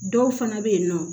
Dɔw fana bɛ yen nɔ